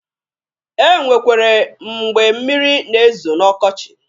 E nwekwere mgbe mmịrị na-ezo n'ọkọchị.